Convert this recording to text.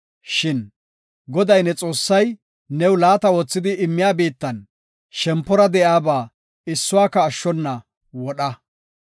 Shin Goday, ne Xoossay new laata oothidi immiya biittan shempora de7iyaba issuwaka ashshona wodha.